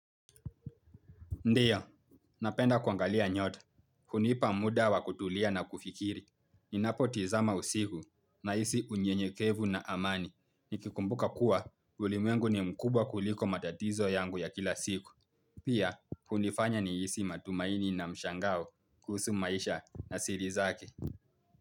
Ndio, napenda kuangalia nyota. Hunipa muda wa kutulia na kufikiri. Ninapotizama usiku nahisi unyenyekevu na amani. Nikikumbuka kuwa, ulimwengu ni mkubwa kuliko matatizo yangu ya kila siku. Pia, hunifanya nihisi matumaini na mshangao kuhusu maisha na siri zake.